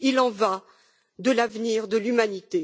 Il en va de l'avenir de l'humanité.